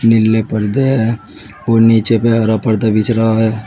नीले पर्दा है और नीचे पे हर पर्दा बिछ रहा है।